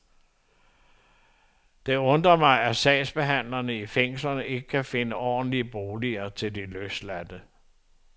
Og det undrer mig, at sagsbehandlerne i fængslerne ikke finder ordentlige boliger til de løsladte.